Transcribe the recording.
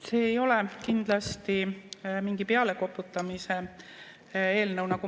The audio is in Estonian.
See ei ole kindlasti mingi pealekoputamise eelnõu.